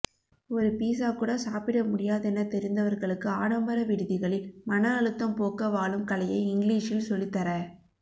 ஒரு பீஸாக்கூட சாப்பிட முடியாதெனத் தெரிந்தவர்களுக்கு ஆடம்பர விடுதிகளில் மனஅழுத்தம்போக்கவாழும்கலையை இங்லீஷில் சொல்லித்தர